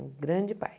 Um grande pai.